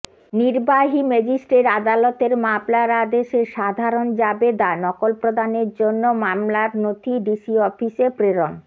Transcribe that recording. নির্বাহী ম্যাজিষ্ট্রেট আদালতের মামলার আদেশের সাধারণ জাবেদা নকলপ্রদানের জন্য মামলার নথি ডিসি অফিসে প্রেরণ